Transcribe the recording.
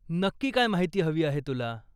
नक्की काय माहिती हवी आहे तुला?